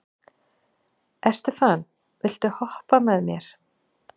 Estefan, viltu hoppa með mér?